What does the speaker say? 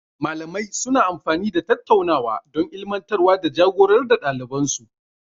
Malamai suna amfani da tattaunawa don ilmantarwa da ja-gorar da ɗaliban su.